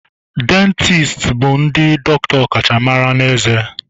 Dieticianu bụ ndị dọkịta ọkachamara na ezé